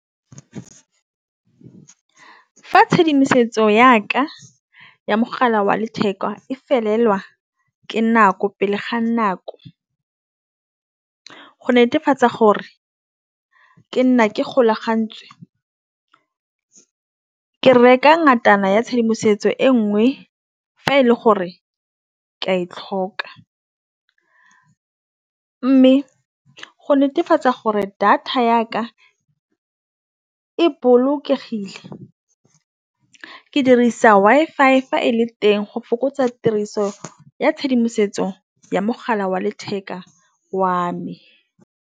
Fa tšhedimosetso ya ka ya mogala wa letheka e felelwa ke nako pele ga nako. Go netefatsa gore ke nna ke golagantswe ke reka ngwana ya tshedimosetso e nngwe fa e le gore ke e tlhoka mme go netefatsa gore data ya ka e bolokegile ke dirisa Wi-Fi fa e le teng go fokotsa tiriso ya tshedimosetso ya mogala wa letheka wa me.